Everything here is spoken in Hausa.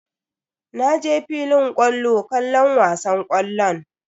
Na je filin kwallo kallon wasan ƙwallon.